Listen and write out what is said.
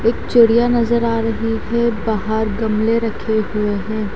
एक चिड़िया नजर आ रही है बाहर गमले रखे हुए हैं।